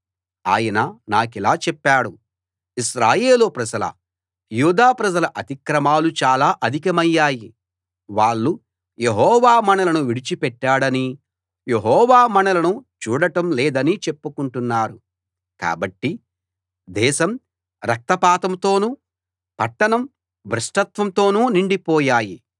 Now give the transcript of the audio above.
ఆయన నాకిలా చెప్పాడు ఇశ్రాయేలు ప్రజల యూదా ప్రజల అతిక్రమాలు చాలా అధికమయ్యాయి వాళ్ళు యెహోవా మనలను విడిచి పెట్టాడనీ యెహోవా మనలను చూడటం లేదనీ చెప్పుకుంటున్నారు కాబట్టి దేశం రక్త పాతంతోనూ పట్టణం భ్రష్టత్వంతోనూ నిండి పోయాయి